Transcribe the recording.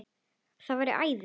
Það væri æði